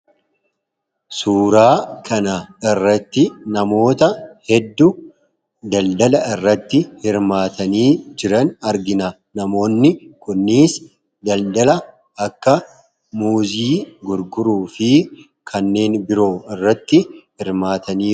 Suuraa kanarratti namoota hedduu daldala urratti hirmaatanii jiran argina. Namoonni kunis daldala akka muuzii gurguruu fi kanneen biroo irratti hirmaataa jiru.